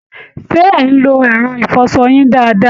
Ṣé ẹ̀ ń lo ẹ̀rọ ìfọṣọ yín dáadáa?